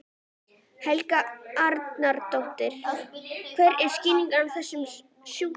Helga Arnardóttir: Hver er skýringin á þessum sjúkdómi?